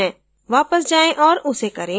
वापस जाएँ और उसे करें